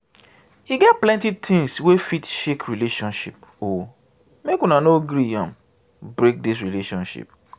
e get plenty tins wey fit shake relationship o make una no gree am break di relationship.